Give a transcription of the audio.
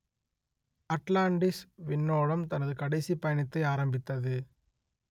Atlantis விண்ணோடம் தனது கடைசிப் பயணத்தை ஆரம்பித்தது